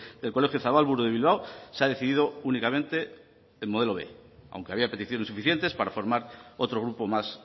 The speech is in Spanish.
del colegio zabalburu de bilbao se ha decidido únicamente el modelo b aunque había peticiones suficientes para formar otro grupo más